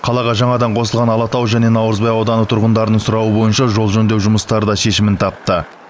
қалаға жаңадан қосылған алатау және наурызбай ауданы тұрғындарының сұрауы бойынша жол жөндеу жұмыстары да шешімін тапты